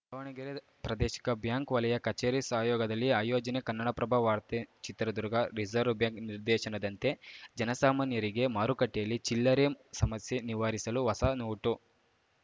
ದಾವಣಗೆರೆ ಪ್ರಾದೇಶಿಕ ಬ್ಯಾಂಕ್‌ ವಲಯ ಕಚೇರಿ ಸಹಯೋಗದಲ್ಲಿ ಆಯೋಜನೆ ಕನ್ನಡಪ್ರಭ ವಾರ್ತೆ ಚಿತ್ರದುರ್ಗ ರಿಸರ್ವ್ ಬ್ಯಾಂಕ್‌ ನಿರ್ದೇಶನದಂತೆ ಜನಸಾಮಾನ್ಯರಿಗೆ ಮಾರುಕಟ್ಟೆಯಲ್ಲಿ ಚಿಲ್ಲರೆ ಸಮಸ್ಯೆ ನಿವಾರಿಸಲು ಹೊಸ ನೋಟು